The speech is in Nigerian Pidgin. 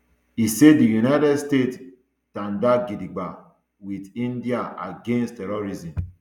e say di united states tanda gidigba wit india against terrorism